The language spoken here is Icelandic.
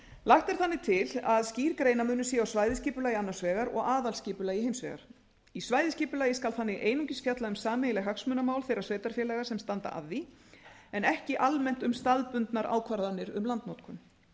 lagt er þannig til að skýr greinarmunur sé á svæðisskipulagi annars vegar og aðalskipulagi hins vegar í svæðisskipulagi skal einungis fjallað um sameiginleg hagsmunamál þeirra sveitarfélaga sem standa að því en ekki almennt um staðbundnar ákvarðanir um landnotkun